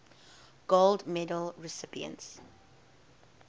gold medal recipients